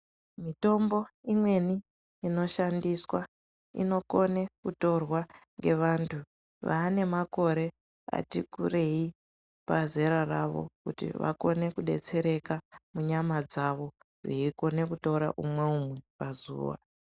Mitombo imweni inoshandiswa inokone kutorwa ngevantu vaanemakore atikurei pazera ravo kuti vakone kudetsereka munyama dzavo veikone kutora umwe umwe pazuva.